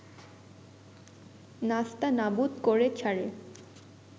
নাস্তানাবুদ করে ছাড়ে